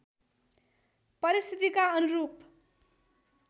परिस्थितिका अनुरूप